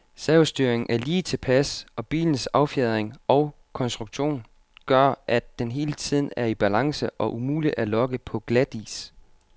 Servostyringen er lige tilpas, og bilens affjedring og konstruktion gør, at den hele tiden er i balance og umulig at lokke på glatis.